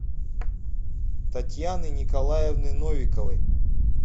татьяны николаевны новиковой